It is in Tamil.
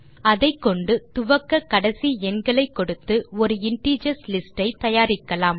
அதைக்கொண்டு துவக்க கடைசி எண்களை கொடுத்து ஒரு இன்டிஜர்ஸ் லிஸ்ட் ஐ தயாரிக்கலாம்